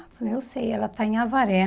Eu falei, eu sei, ela está em Avaré.